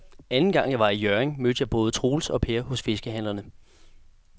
Anden gang jeg var i Hjørring, mødte jeg både Troels og Per hos fiskehandlerne.